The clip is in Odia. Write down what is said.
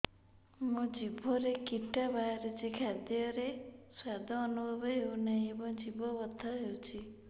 ମୋ ଜିଭରେ କିଟା ବାହାରିଛି ଖାଦ୍ଯୟରେ ସ୍ୱାଦ ଅନୁଭବ ହଉନାହିଁ ଏବଂ ଜିଭ ବଥା ହଉଛି